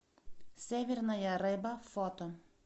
северная рыба фото